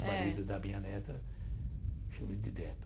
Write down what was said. É O marido da minha neta, eu chamo de neto.